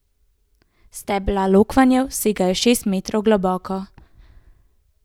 Stebla lokvanjev segajo šest metrov globoko.